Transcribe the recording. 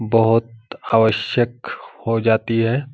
बहुत आवश्यक हो जाती है ।